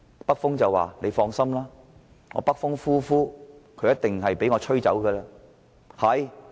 北風說："我北風呼呼，外衣一定會被我吹走。